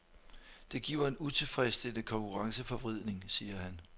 Det giver en utilfredsstillende konkurrenceforvridning, siger han.